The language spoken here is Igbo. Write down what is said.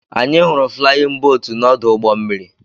Anyị hụrụ flayin bootu na-ọdụ ụgbọ mmiri.